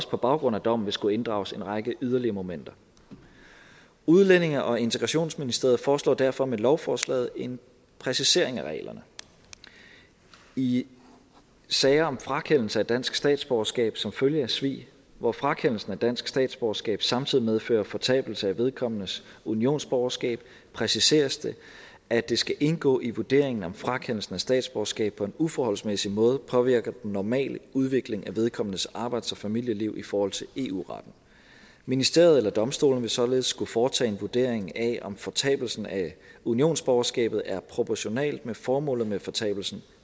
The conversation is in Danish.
på baggrund af dommen vil skulle inddrages en række yderligere momenter udlændinge og integrationsministeriet foreslår derfor med lovforslaget en præcisering af reglerne i sager om frakendelse af dansk statsborgerskab som følge af svig hvor frakendelsen af dansk statsborgerskab samtidig medfører fortabelse af vedkommendes unionsborgerskab præciseres det at det skal indgå i vurderingen om frakendelsen af statsborgerskab på en uforholdsmæssig måde påvirker den normale udvikling af vedkommendes arbejds og familieliv i forhold til eu retten ministeriet eller domstolene vil således skulle foretage en vurdering af om fortabelsen af unionsborgerskabet er proportionalt med formålet med fortabelsen